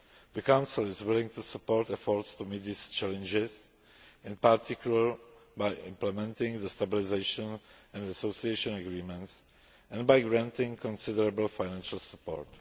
The Council is willing to support efforts to meet these challenges, in particular by implementing the Stabilisation and Association Agreements and by granting considerable financial support.